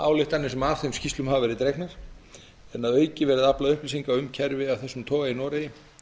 ályktanir sem af þeim skýrslum hafa verið dregnar en að auki aflað upplýsinga um kerfi af þessum toga í noregi